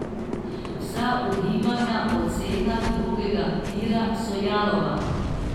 Vsa ugibanja o cenah drugega tira so jalova.